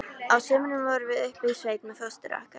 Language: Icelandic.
Á sumrin vorum við uppi í sveit með fóstru okkar.